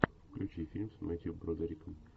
включи фильм с мэттью бродериком